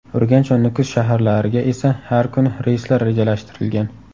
Urganch va Nukus shaharlariga esa har kuni reyslar rejalashtirilgan.